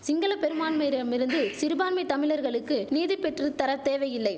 சிங்கள பெரும்பான்மையிரிடமிருந்து சிறுபான்மை தமிழர்களுக்கு நீதிபெற்றுத் தரதேவையில்லை